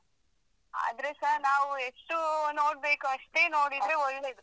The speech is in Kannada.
ಆದ್ರೆಸ ನಾವ್ ಎಷ್ಟು ನೋಡ್ಬೇಕು ಅಷ್ಟೇ ನೋಡಿದ್ರೆ ಒಳ್ಳೇದು.